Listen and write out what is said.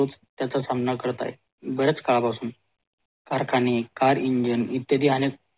त्याचा सामना करतात बरेच काळापासून कारखाने car engine इत्यादी